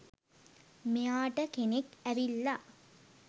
මෙයාට කෙනෙක් ඇවිල්ලා